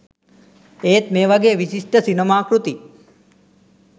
ඒත් මේ වගේ විශිෂ්ඨ සිනමා කෘති